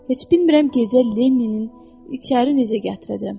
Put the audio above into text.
Heç bilmirəm gecə Lenninin içəri necə gətirəcəm.